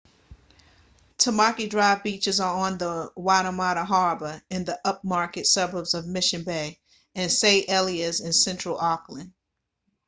tamaki drive beaches are on the waitemata harbour in the upmarket suburbs of mission bay and st heliers in central auckland